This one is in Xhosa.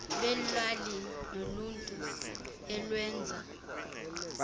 lweelali neloluntu lwenza